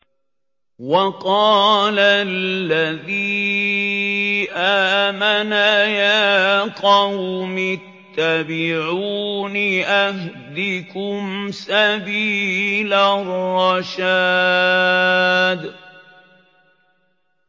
وَقَالَ الَّذِي آمَنَ يَا قَوْمِ اتَّبِعُونِ أَهْدِكُمْ سَبِيلَ الرَّشَادِ